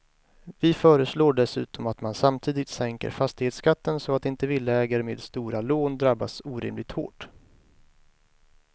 Vi föreslår dessutom att man samtidigt sänker fastighetsskatten så att inte villaägare med stora lån drabbas orimligt hårt.